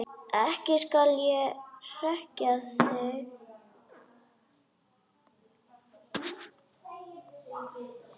Ekki skal ég hrekkja þig.